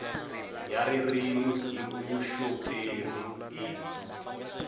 ya ririmi hi vuxoperi i